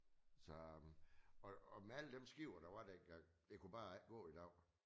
Så øh og med alle dem skippere der var dengang det kunne bare ikke gå i dag